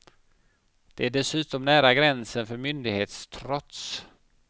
Det är dessutom nära gränsen för myndighetstrots.